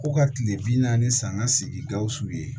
Ko ka kile bi naani ni sanga sigi gawusu ye